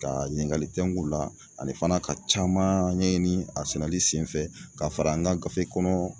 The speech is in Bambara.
Ka ɲiningali teŋg'u la ani fana ka caman ɲɛɲini a sɛnɛli senfɛ ka fara an ka gafe kɔnɔ